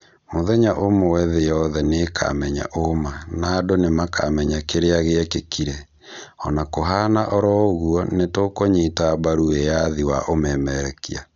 Mũthenya ũmwe thĩ yothe nĩkamenya ũũma, na andũ nĩmakamenya kĩrĩa gĩekĩkire, ona kũhana oro ũguo nĩtũkũnyita mbaru wĩyathi wa ũmemerekia